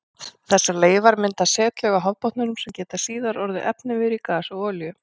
Þessar leifar mynda setlög á hafsbotninum sem geta síðar orðið efniviður í gas og olíu.